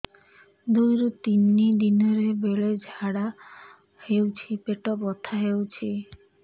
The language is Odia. ଦୁଇରୁ ତିନି ଦିନରେ ବେଳେ ଝାଡ଼ା ହେଉଛି ପେଟ ବଥା ହେଉଛି